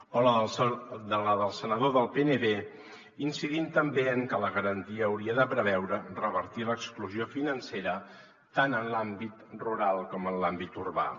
o la del senador del pnb incidint també en que la garantia hauria de preveure revertir l’exclusió financera tant en l’àmbit rural com en l’àmbit urbà